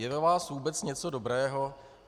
Je ve vás vůbec něco dobrého?